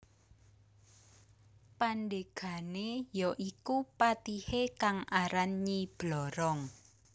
Pandegane ya iku patihe kang aran Nyi Blorong